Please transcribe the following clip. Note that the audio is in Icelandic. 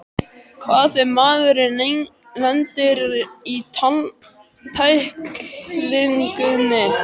Hvað ef maðurinn lendir í tæklingunni?